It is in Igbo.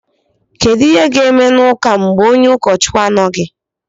kedu ihe ga-eme n’ụka mgbe onye ụkọchukwu na-anọghị